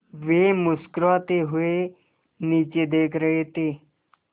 वे मुस्कराते हुए नीचे देख रहे थे